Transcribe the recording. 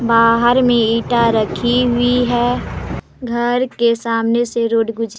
बाहार मे ईटा रखी हुई है घर के सामने से रोड गुज--